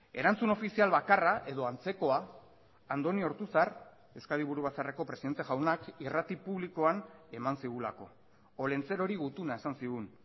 erantzun ofizial bakarra edo antzekoa andoni ortuzar euskadi burubatzarreko presidente jaunak irrati publikoan eman zigulako olentzerori gutuna esan zigun